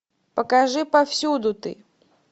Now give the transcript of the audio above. покажи повсюду ты